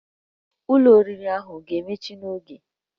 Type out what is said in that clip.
Ụlọ oriri ahụ a ga-emechi n'oge?